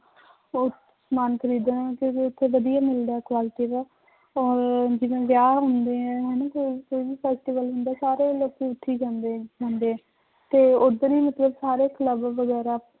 ਸਮਾਨ ਖ਼ਰੀਦਣ ਕਿਉਂਕਿ ਉੱਥੇ ਵਧੀਆ ਮਿਲਦਾ ਹੈ quality ਦਾ ਔਰ ਜਿਵੇਂ ਵਿਆਹ ਹੁੰਦੇ ਹੈ ਸਾਰੇ ਲੋਕੀ ਉੱਥੇ ਹੀ ਜਾਂਦੇ ਹੁੰਦੇ, ਤੇ ਉੱਧਰ ਹੀ ਮਤਲਬ ਸਾਰੇ club ਵਗ਼ੈਰਾ